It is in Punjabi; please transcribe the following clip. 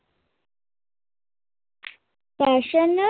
ਕ੍ਰਸ਼ਨ